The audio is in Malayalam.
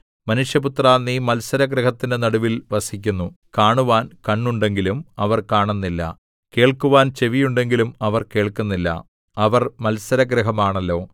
മനുഷ്യപുത്രാ നീ മത്സരഗൃഹത്തിന്റെ നടുവിൽ വസിക്കുന്നു കാണുവാൻ കണ്ണുണ്ടെങ്കിലും അവർ കാണുന്നില്ല കേൾക്കുവാൻ ചെവിയുണ്ടെങ്കിലും അവർ കേൾക്കുന്നില്ല അവർ മത്സരഗൃഹമാണല്ലോ